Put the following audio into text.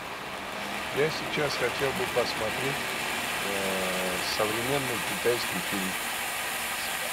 я сейчас хотел бы посмотреть современный китайский фильм